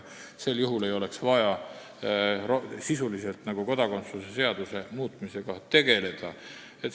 Sel juhul ei oleks vaja kodakondsuse seaduse muutmisega sisuliselt tegeleda.